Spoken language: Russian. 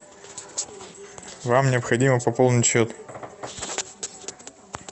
вам необходимо пополнить счет